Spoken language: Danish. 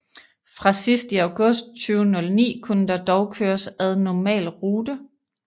Fra sidst i august 2009 kunne der dog køres ad normal rute